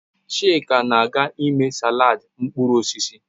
Chika na-aga ime salad mkpụrụ osisi